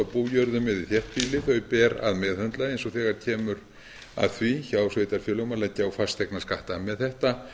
eða í þéttbýli þau ber að meðhöndla eins og þegar kemur að því hjá sveitarfélögum að leggja á fasteignaskatta mál þetta